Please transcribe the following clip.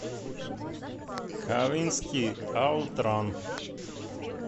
кавинский аутран